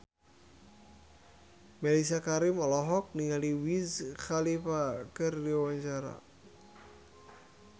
Mellisa Karim olohok ningali Wiz Khalifa keur diwawancara